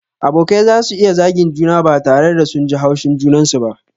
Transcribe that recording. Abokai zasu iya zagin juna ba tare da sun ji haushin junansu ba.